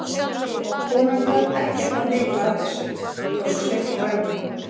Konan þarf ekkert að vita af þessu, tók Sveinn fram í.